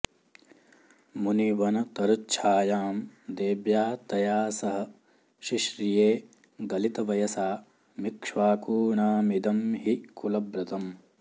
मुनिवनतरुच्छायां देव्या तया सह शिश्रिये गलितवयसामिक्ष्वाकूणामिदं हि कुलव्रतम्